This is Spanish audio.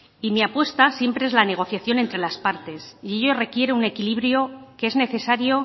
y mi apuesta siempre es la negociación entre las parte y ello requiere un equilibrio que es necesario